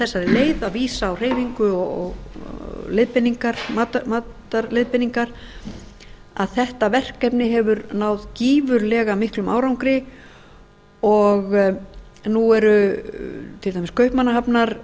þessari leið að vísa á hreyfingu og matarleiðbeiningar að þetta verkefni hefur náð gífurlega miklum árangri og nú er til dæmis